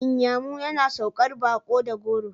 Inyamu yana saukar baƙo da goro.